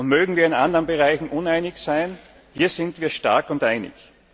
Mögen wir in anderen Bereichen auch uneinig sein, hier sind wir stark und einig.